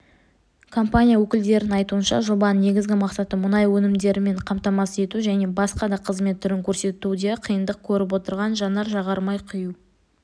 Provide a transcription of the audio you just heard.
компания өкілдерінің айтуынша жобаның негізгі мақсаты мұнай өнімдерімен қамтамасыз ету және басқа да қызмет түрін көрсетуде қиындық көріп отырған жанар-жағармай құю